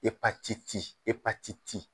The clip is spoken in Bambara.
Epatiti epatiti.